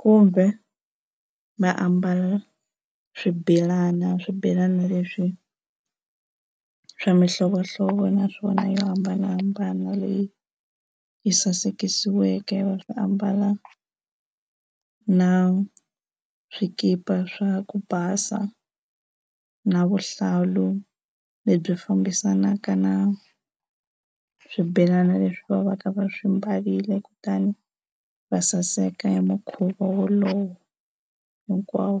kumbe va ambala swibelana, swibelana leswi swa mihlovohlovo naswona yo hambanahambana leyi yi sasekisiweke va swi ambala na swikipa swa ku basa na vuhlalu lebyi fambisanaka na swibelana leswi va va ka va swi mbarile kutani va saseka hi mukhuva wolowo hinkwawo.